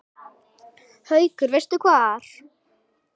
Haukur: Veistu hvar?